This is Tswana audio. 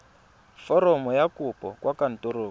foromo ya kopo kwa kantorong